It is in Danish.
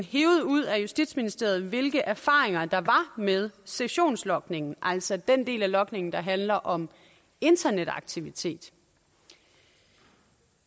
hevet ud af justitsministeriet hvilke erfaringer der var med sessionslogningen altså den del af logningen der handler om internetaktivitet